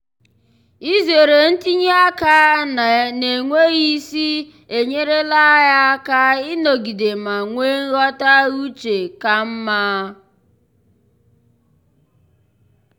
izere ntinye aka n'enweghị isi enyerela ya aka ịnọgide ma nwee nghọta uche ka mma.